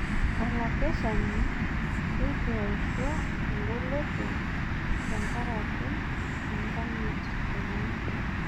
olakeshani leitu aisho eng'oloto tenkaraki enkanyit enye